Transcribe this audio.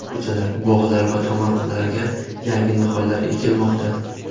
Ko‘chalar, bog‘lar va tomorqalarga yangi nihollar ekilmoqda.